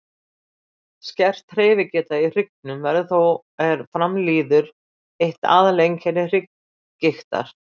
skert hreyfigeta í hryggnum verður þó er fram líður eitt aðal einkenni hrygggigtar